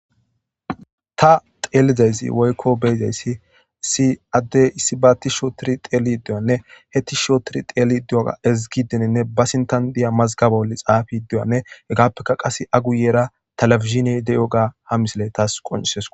Tha xeellida isi woykko be7ida isi issi addee issibaa thishshi ooththiri xeelliza isi woykko be7iza isi issi addee issibaa tishshi ooththiri xeelliiddi diyoogaanne he tishshi ooththiri xeelliiddi diyoogaanne ezggiiderenne ba sinththan diya mazgaba bolli xaafiiddi diyoogaanne hegaappekka qassi a guyyera televizhiinee de7iyoogaa ha misilee thaas qonccisses koo.